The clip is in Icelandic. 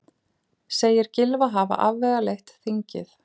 Segir Gylfa hafa afvegaleitt þingið